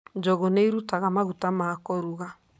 Njũgũ ni irutaga maguta ma kũruga.